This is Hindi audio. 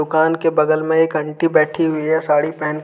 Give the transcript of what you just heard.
कान के बगल में एक आंटी बैठी हुई है साड़ी पहन के।